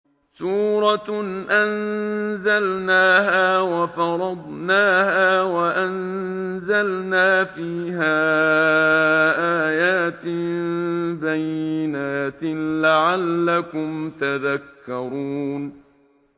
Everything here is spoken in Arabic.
سُورَةٌ أَنزَلْنَاهَا وَفَرَضْنَاهَا وَأَنزَلْنَا فِيهَا آيَاتٍ بَيِّنَاتٍ لَّعَلَّكُمْ تَذَكَّرُونَ